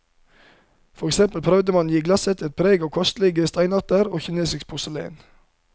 For eksempel prøvde man å gi glasset et preg av kostelige steinarter og kinesisk porselen.